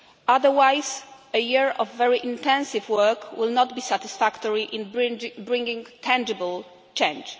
Otherwise, a year of very intensive work will not be satisfactory in bringing tangible change.